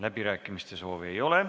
Läbirääkimiste soovi ei ole.